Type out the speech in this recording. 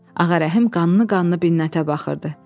Ağarəhim qanı qanına Binətə baxırdı.